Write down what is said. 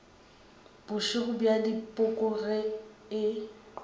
bošego bja dipoko ge e